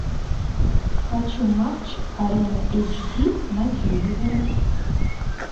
хочу матч арена эйч ди на телевизоре